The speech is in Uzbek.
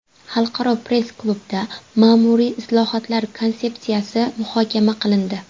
Xalqaro press klubda ma’muriy islohotlar konsepsiyasi muhokama qilindi.